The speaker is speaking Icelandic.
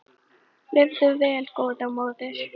Lifðu vel góða móðir.